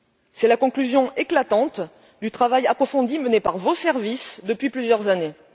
C'est la conclusion éclatante du travail approfondi mené par vos services depuis plusieurs années.